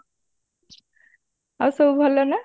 ଆଉ ସବୁ ଭଲ ନା?